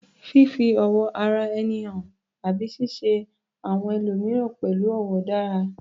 Fífi ọ̀wọ̀ ara ẹni hàn àti ṣíṣe àwọn ẹlòmíràn pẹ̀lú ọ̀wọ̀ dára